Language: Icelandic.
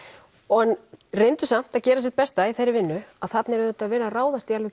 en reyndu samt að gera sitt besta í þeirri vinnu að þarna er auðvitað verið að ráðast í alveg